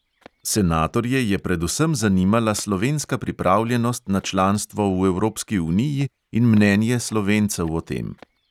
Senatorje je predvsem zanimala slovenska pripravljenost na članstvo v evropski uniji in mnenje slovencev o tem.